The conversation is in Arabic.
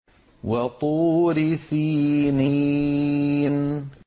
وَطُورِ سِينِينَ